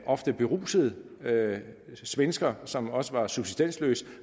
ofte beruset svensker som også var subsistensløs